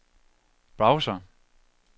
browser